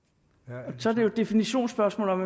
og så er det jo et definitionsspørgsmål om